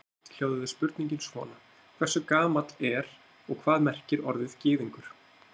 Í heild hljóðaði spurningin svona: Hversu gamalt er og hvað merkir orðið gyðingur?